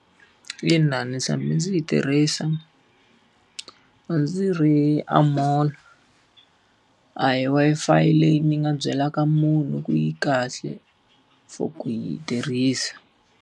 Ina, ni tshame ndzi yi tirhisa, a ndzi ri a mall. A hi Wi-Fi leyi ni nga byelaka munhu ku yi kahle for ku yi tirhisa.